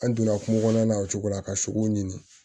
An donna kungo kɔnɔna na o cogo la ka sogow ɲini